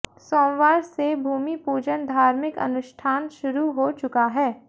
सोमवार से भूमिपूजन धार्मिक अनुष्ठान शुरू हो चुका है